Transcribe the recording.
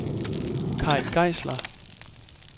Kay Geisler